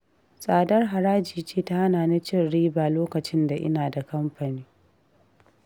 Tsadar haraji ce ta hana ni cin riba lokacin da ina da kamfani